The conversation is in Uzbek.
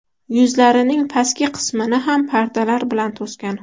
Yuzlarining pastki qismini ham pardalar bilan to‘sgan.